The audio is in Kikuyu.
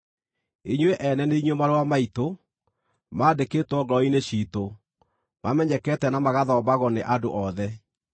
Inyuĩ ene nĩ inyuĩ marũa maitũ, maandĩkĩtwo ngoro-inĩ ciitũ, mamenyekete na magathomagwo nĩ andũ othe.